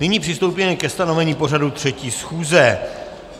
Nyní přistoupíme ke stanovení pořadu 3. schůze.